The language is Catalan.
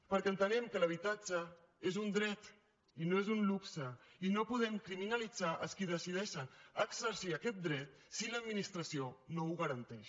perquè entenem que l’habitatge és un dret i no és un luxe i no podem criminalitzar els que decideixen exercir aquest dret si l’administració no ho garanteix